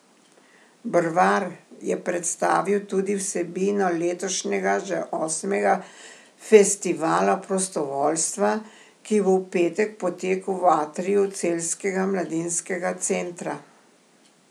Brvar je predstavil tudi vsebino letošnjega že osmega Festivala prostovoljstva, ki bo v petek potekal v atriju Celjskega mladinskega centra.